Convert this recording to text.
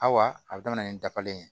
A wa a bɛ daminɛ ni dabalen ye